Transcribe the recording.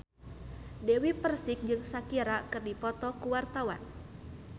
Dewi Persik jeung Shakira keur dipoto ku wartawan